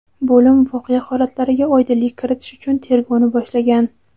Bo‘lim voqea holatlariga oydinlik kiritish uchun tergovni boshlagan.